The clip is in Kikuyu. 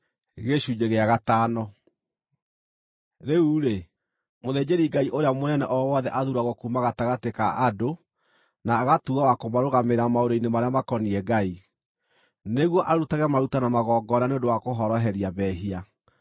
Rĩu-rĩ, mũthĩnjĩri-Ngai ũrĩa mũnene o wothe athuuragwo kuuma gatagatĩ ka andũ na agatuuo wa kũmarũgamĩrĩra maũndũ-inĩ marĩa makoniĩ Ngai, nĩguo arutage maruta na magongona nĩ ũndũ wa kũhoroheria mehia.